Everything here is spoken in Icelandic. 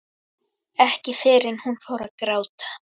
Ekki fyrr en hún fór að gráta.